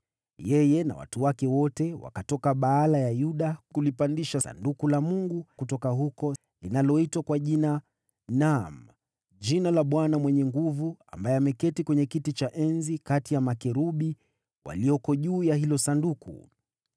Yeye na watu wake wote wakatoka Baala ya Yuda kulipandisha Sanduku la Mungu kutoka huko, linaloitwa kwa Jina, naam, jina la Bwana Mwenye Nguvu Zote, ambaye anaketi katika kiti cha enzi kati ya makerubi walioko juu ya hilo Sanduku.